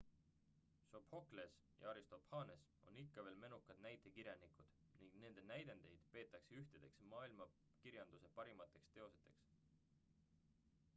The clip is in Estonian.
sophokles ja aristophanes on ikka veel menukad näitekirjanikud ning nende näidendeid peetakse ühtedeks maailmakirjanduse parimateks teosteks